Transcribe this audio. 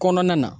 Kɔnɔna na